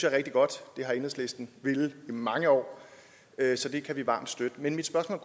er rigtig godt det har enhedslisten villet i mange år så det kan vi varmt støtte men mit spørgsmål